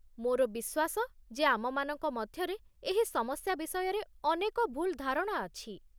ମୋର ବିଶ୍ୱାସ ଯେ ଆମମାନଙ୍କ ମଧ୍ୟରେ ଏହି ସମସ୍ୟା ବିଷୟରେ ଅନେକ ଭୁଲ୍ ଧାରଣା ଅଛି।